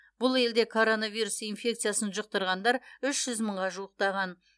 бұл елде коронавирус инфекциясын жұқтырғандар үш жүз мыңға жуықтаған